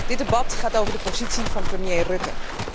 Dit debat gaat over de positie van premier Rutte.